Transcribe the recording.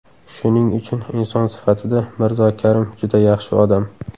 Shuning uchun inson sifatida Mirzo Karim juda yaxshi odam.